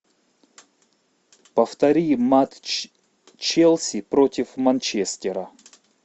повтори матч челси против манчестера